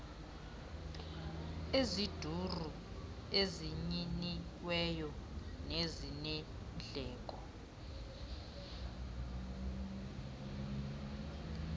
eziduru ezinyiniweyo nezinendleko